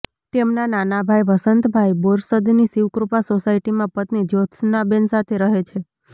તેમના નાના ભાઈ વસંતભાઈ બોરસદની શિવકૃપા સોસાયટીમાં પત્ની જ્યોત્સનાબેન સાથે રહે છે